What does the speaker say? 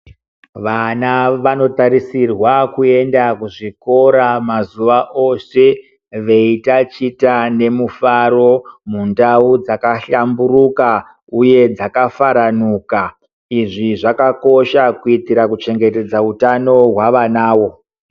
Vana vanotarisirwa kuenda kuzvikora mazuwa ose veitachita nemufaro mundau dzakahlamburuka uye dzakafaranuka izvi zvakakosha kuitira kuchengetedza utano hwavanawo.